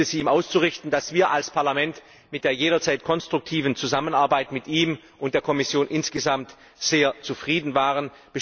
Ich bitte Sie, ihm auszurichten, dass wir als Parlament mit der jederzeit konstruktiven Zusammenarbeit mit ihm und der Kommission insgesamt sehr zufrieden waren.